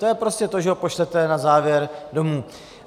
To je prostě to, že ho pošlete na závěr domů.